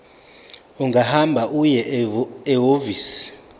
ungahamba uye ehhovisi